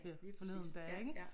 Ja lige præcis ja ja